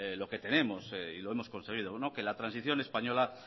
lo que tenemos y lo hemos conseguido bueno que la transición española